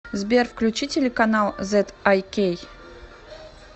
сбер включи телеканал зэд ай кей